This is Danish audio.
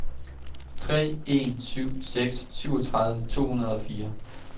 tre en syv seks syvogtyve to hundrede og fire